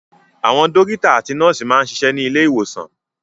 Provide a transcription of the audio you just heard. Àwọn dọ́kítá àti nọ́ọ́sì máa ń ṣiṣẹ́ ní ilé-ìwòsàn.